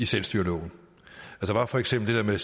selvstyreloven der var for eksempel det der